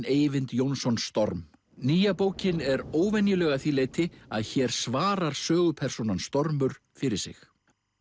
Eyvind Jónsson storm nýja bókin er óvenjuleg að því leyti að hér svarar sögupersónan stormur fyrir sig